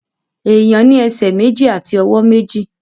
Èèyàn ní ẹsẹ̀ méjì àti ọwọ́ méjì